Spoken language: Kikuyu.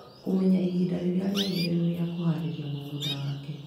Kũmenya ihinda rĩrĩa rĩagĩrĩru rĩa kuharĩria mũgũnda wake.